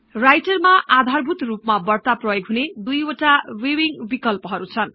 राइटरमा आधारभूतरुपमा बढ्ता प्रयोग हुने दुई वटा भिउविङ्ग बिकल्पहरु छन्